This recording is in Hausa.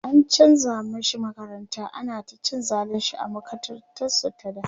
an chanza mashi makaranta, ana ta cin zalinshi a makarantar su ta da